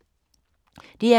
DR K